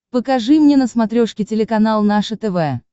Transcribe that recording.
покажи мне на смотрешке телеканал наше тв